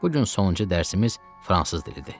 Bu gün sonuncu dərsimiz fransız dilidir.